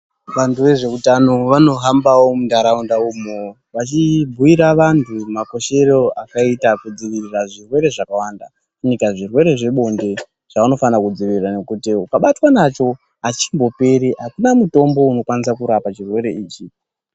Vanthu vezveutano vanohambawo muntharaunda umwo vachibhuyira vanthu makoshere akaita kudziviririra zvirwere zvakawanda fanika zvirwere zvebonde zvaunofane kudziirira ngokuti ukavatwa nacho achimboperi akuna mutombo unokwanisa kurapa chirwere ichi.